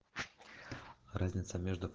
разница между